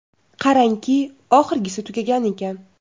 Qarangki, oxirgisi tugagan ekan.